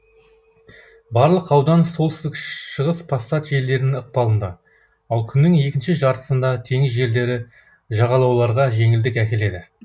барлық аудан солтүстік шығыс пассат желдері ықпалында ал күннің екінші жартысында теңіз желдері жағалауларға жеңілдік әкеледі